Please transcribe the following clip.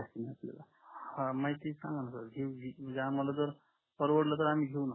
हम्म माहिती सांगा न सर आम्हाला जर परवडला तर आम्ही घेऊ